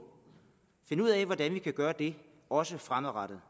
finde ud af hvordan vi kan gøre det også fremadrettet